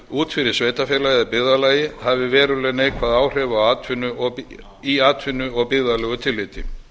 út fyrir sveitarfélagið eða byggðarlagið hafi veruleg neikvæð áhrif í atvinnu og byggðalegu tilliti